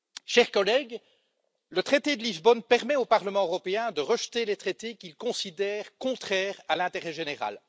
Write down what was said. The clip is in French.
Chers collègues, le traité de Lisbonne permet au Parlement européen de rejeter les traités qu'il considère contraires à l'intérêt général.